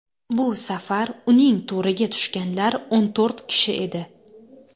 Bu safar uning to‘riga tushganlar o‘n to‘rt kishi edi.